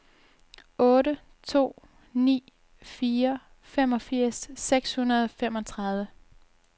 otte to ni fire femogfirs seks hundrede og femogtredive